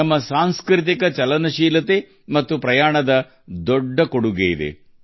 ನಮ್ಮ ಸಾಂಸ್ಕೃತಿಕ ಚಲನಶೀಲತೆ ಮತ್ತು ಪ್ರವಾಸಗಳು ಇದಕ್ಕೆ ಸಾಕಷ್ಟು ಕೊಡುಗೆ ನೀಡಿವೆ